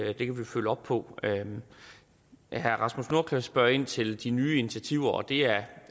op på herre rasmus nordqvist spørger ind til de nye initiativer det er